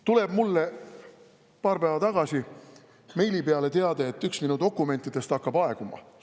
Tuleb mulle paar päeva tagasi meili peale teade, et üks minu dokumentidest hakkab aeguma.